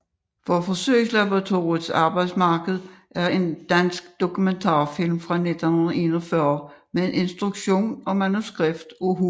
Fra Forsøgslaboratoriets Arbejdsmark er en dansk dokumentarfilm fra 1941 med instruktion og manuskript af H